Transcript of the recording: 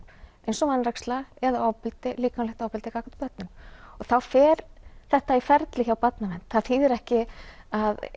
eins og vanræksla eða ofbeldi líklamlegt ofbeldi gagnvart börnum og þá fer þetta í ferli hjá Barnavernd það þýðir ekki að